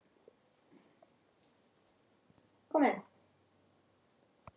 Brátt voru Reyðarfjörður og Eskifjörður að baki.